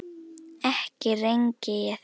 ekki rengi ég þig.